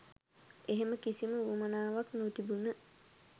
එහෙම කිසිම උවමනාවක් නොතිබුන